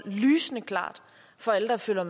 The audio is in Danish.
og